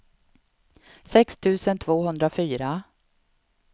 sex tusen tvåhundrafyra